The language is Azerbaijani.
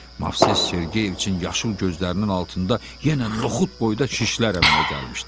Movses Sergeyeviçın yaşıl gözlərinin altında yenə noxud boyda şişlər əmələ gəlmişdi.